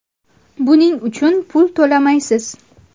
Buning uchun pul to‘lamaysiz.